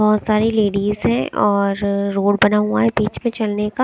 बहोत सारी लेडिज हैं और अ रोड बना हुआ है बीच में चलने का --